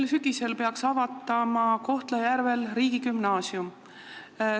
Sel sügisel peaks Kohtla-Järvel avatama riigigümnaasium.